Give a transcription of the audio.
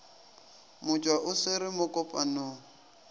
motšwa o swere mo kopanong